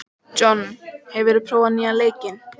John, hefur þú prófað nýja leikinn?